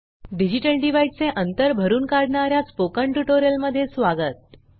digital divide चे अंतर भरून काढणार्या स्पोकन ट्युटोरियलमध्ये स्वागत